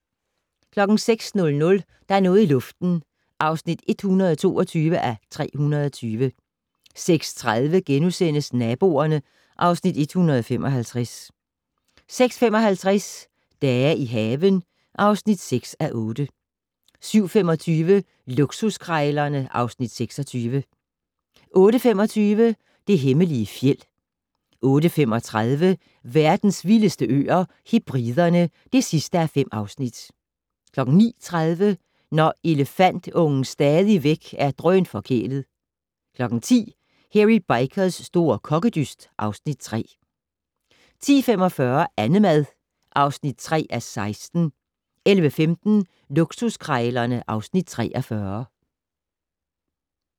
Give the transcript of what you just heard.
06:00: Der er noget i luften (122:320) 06:30: Naboerne (Afs. 155)* 06:55: Dage i haven (6:8) 07:25: Luksuskrejlerne (Afs. 26) 08:25: Det hemmelige fjeld 08:35: Verdens vildeste øer - Hebriderne (5:5) 09:30: Når elefantungen stadigvæk er drønforkælet 10:00: Hairy Bikers' store kokkedyst (Afs. 3) 10:45: Annemad (3:16) 11:15: Luksuskrejlerne (Afs. 43)